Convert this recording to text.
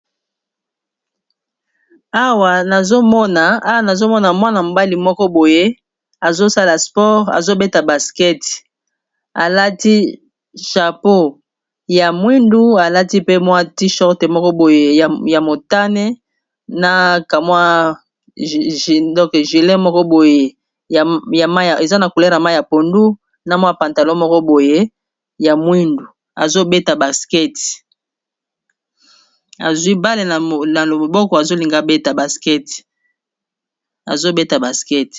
awa nazomona mwana mobali moko boye azosala sport azobeta baskete alati chapeau ya mwindu alati pe mwa ti shorte moko boye ya motane na kamwi gile moko boye ya mai eza na kulera mai ya pondu na mwa pantalo moko boyya wiuazwi bale na lomoboko azolingabetazobeta baskete